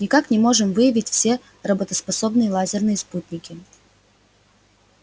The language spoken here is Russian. никак не можем выявить все работоспособные лазерные спутники